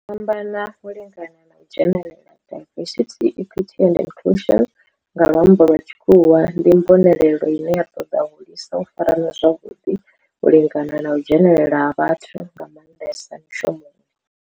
U fhambana, u lingana na u dzhenelela, diversity, equity and inclusion nga lwambo lwa tshikhuwa, ndi mbonelelo ine ya toda u hulisa u farana zwavhuḓi, u lingana na u dzhenelela ha vhathu nga mandesa mishumoni.